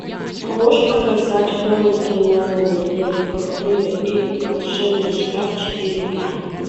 можешь показать хроники нарнии лев колдунья и волшебный шкаф четыре к